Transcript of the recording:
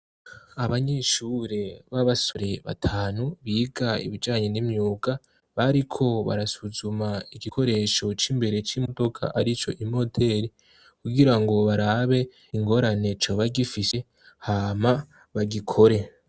Abanyeshure b'abasore batanu, biga ibijanye n'imyuga, bariko barasuzuma igikoresho c'imbere c'imodoka arico imoteri, kugirango barabe ingorane coba gifise, hama bagikore.